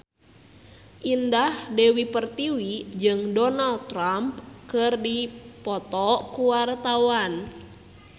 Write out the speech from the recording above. Indah Dewi Pertiwi jeung Donald Trump keur dipoto ku wartawan